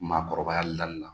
Maakɔrɔbaya dali la